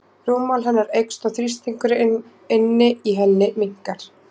Rúmmál hennar eykst og þrýstingur inni í henni minnkar.